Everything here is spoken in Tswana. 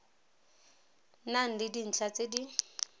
nang le dintlha tse di